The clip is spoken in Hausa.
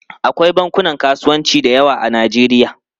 Akwai bankunan kasuwanci da yawa a Najeriya.